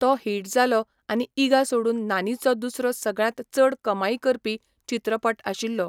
तो हिट जालो आनी ईगा सोडून नानीचो दुसरो सगळ्यांत चड कमाई करपी चित्रपट आशिल्लो.